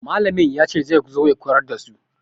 Mallamin ya ce zai zo ya koyar da su.